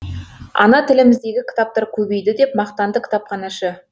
ана тіліміздегі кітаптар көбейді деп мақтанды кітапханашы